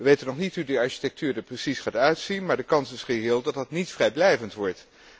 Wij weten nog niet hoe die architectuur er precies gaat uitzien, maar de kans is reëel dat dat niet vrijblijvend wordt.